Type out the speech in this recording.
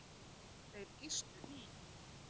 Þeir gistu í